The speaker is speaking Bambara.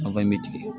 bɛ tigɛ